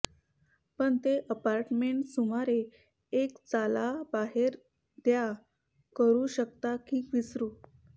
पण ते अपार्टमेंट सुमारे एक चाला बाहेर द्या करू शकता की विसरू